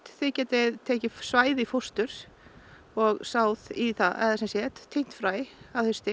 þið getið tekið svæði í fóstur og sáð í það eða sem sagt tínt fræ að hausti